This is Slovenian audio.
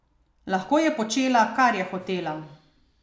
Lahko je počela, kar je hotela!